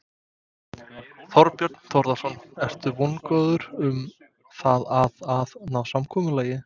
Þorbjörn Þórðarson: Ertu vongóður um það að að ná samkomulagi?